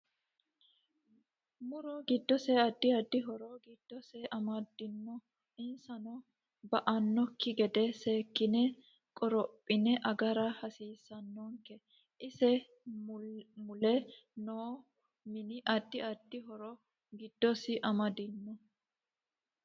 MUro giddose addi addi horo giddose amadinno insa ba'anoki gede seekine korophine agara hasiisanonke ise mule noo mini addi addi horo giddosi amadinno